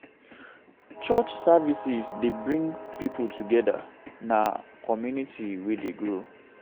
Church services dey bring pipo together; na community wey dey grow.